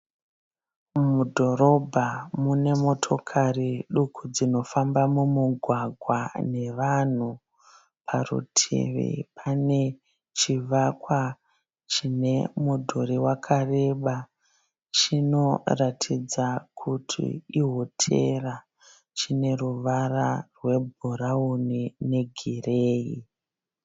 Mudhorobha munemotokari duku dzinofamba mumugwagwa nevanhu. Parutivi panechivaka chinemudhuri wakareba, chinoratidza kuti ihotera. Chineruvara rwebhurauni negireyi.